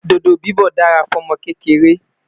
dodo bibọ dá rà fún ọmọ kékeré